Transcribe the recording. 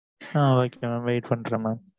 ஆ ok mam wait பண்ணுறன் mam